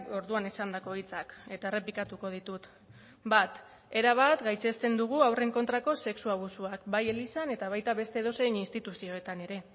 orduan esandako hitzak eta errepikatuko ditut bat erabat gaitzesten dugu haurren kontrako sexu abusuak bai elizan eta baita beste edozein instituzioetan ere